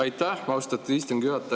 Aitäh, austatud istungi juhataja!